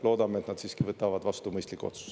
Loodame, et nad siiski võtavad vastu mõistliku otsuse.